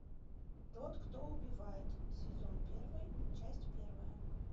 тот кто убивает сезон первый часть первая